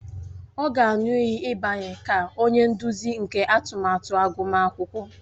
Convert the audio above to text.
Ọ ga-aṅụ iyi ịbanye ka onye nduzi nke atụmatụ agụmakwụkwọ